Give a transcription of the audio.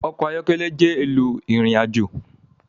Ọkọ̀ ayọ́kẹ́lẹ́ jẹ́ ohun éló irinàjó